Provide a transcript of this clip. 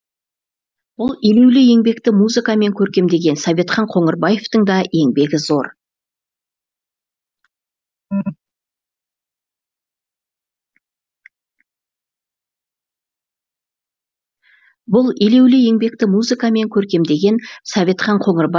бұл елеулі еңбекті музыкамен көркемдеген советхан қоңырбаевтың да еңбегі зор